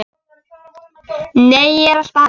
Nei, ég er að spara.